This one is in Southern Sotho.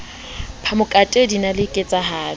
phamokate din a le ketsahalo